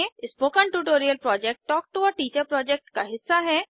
spoken tutorial project talk to a teacher project का हिस्सा है